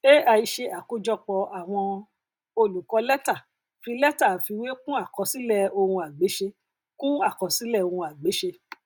ai ṣe àkójọpọ àwọn olùkọ létá fi létà àfiwé kún àkọsílẹ ohunagbéṣe kún àkọsílẹ ohunagbéṣe